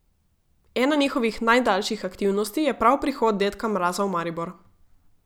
Ena njihovih najdaljših aktivnosti je prav prihod dedka Mraza v Maribor.